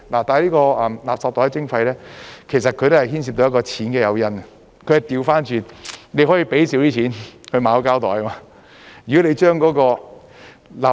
這個垃圾袋徵費其實也是牽涉到錢的誘因，但它是反過來，你可以少付錢去購買膠袋，如果你把垃圾......